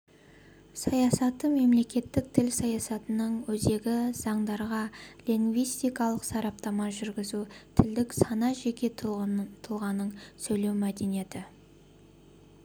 саясаты мемлекеттік тіл саясатының өзегі заңдарға лингвистикалық сараптама жүргізу тілдік сана жеке тұлғаның сөйлеу мәдениеті